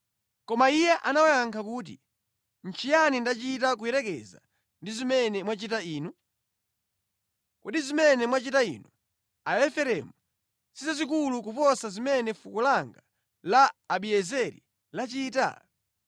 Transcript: Koma iye anawayankha kuti, “Nʼchiyani ndachita kuyerekeza ndi zimene mwachita inu? Kodi zimene mwachita inu Aefereimu si zazikulu kuposa zimene fuko langa la Abiezeri lachita?